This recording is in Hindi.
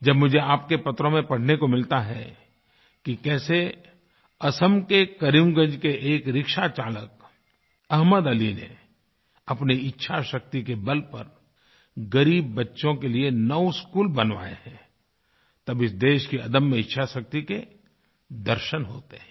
जब मुझे आपके पत्रों में पढ़ने को मिलता है कि कैसे असम के करीमगंज के एक रिक्शाचालक अहमद अली ने अपनी इच्छाशक्ति के बल पर ग़रीब बच्चों के लिए नौ 9स्कूल बनवाये हैं तब इस देश की अदम्य इच्छाशक्ति के दर्शन होते हैं